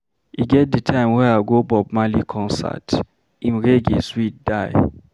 E get di time wey I go Bob Marley concert, im Reggae dey sweet die.